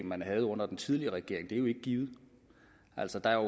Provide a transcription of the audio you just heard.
man havde under den tidligere regering er jo ikke givet altså der er